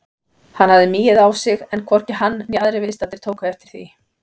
Hann hafði migið á sig en hvorki hann né aðrir viðstaddir tóku eftir því.